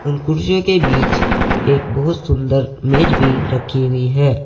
उन कुर्सियों के बीच एक बहुत सुंदर मेज भी रखी हुई है।